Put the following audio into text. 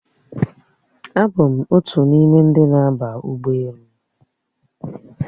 Abụ m otu n'ime ndị na-aba ụgbọelu a